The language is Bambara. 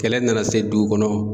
Kɛlɛ nana se dugu kɔnɔ